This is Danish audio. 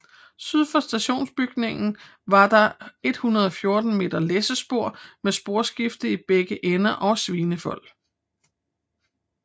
Syd for stationsbygningen var der 114 m læssespor med sporskifte i begge ender og svinefold